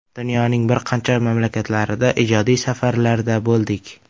Dunyoning bir qancha mamlakatlarida ijodiy safarlarda bo‘ldik.